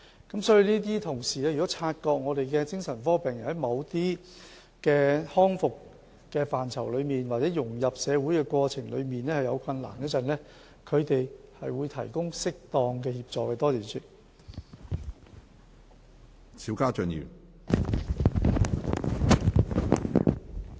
我們的同事如果察覺精神科病人在某些康復範疇，或者在融入社會的過程中遇有困難，他們會提供適當的協助。